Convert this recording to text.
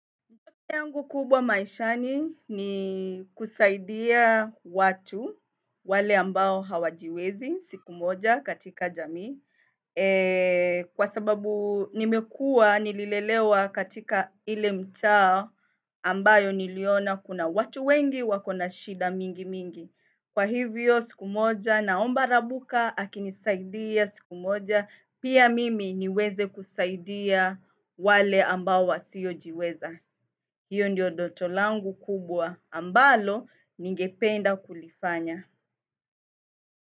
Yangu kubwa maishani ni kusaidia watu wale ambao hawajiwezi siku moja katika jamii. Kwa sababu nimekuwa nililelewa katika ile mtaa ambayo niliona kuna watu wengi wako na shida mingi mingi. Kwa hivyo siku moja naomba Rabuka akinisaidia siku moja pia mimi niweze kusaidia wale ambao wasiojiweza. Hiyo ndiyo doto langu kubwa ambalo ningependa kulifanya.